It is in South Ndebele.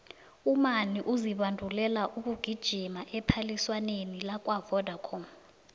umani uzibandulela ukugijima ephaliswaneni lakwavodacom